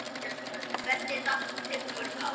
Ferlið allt tekur mörg ár.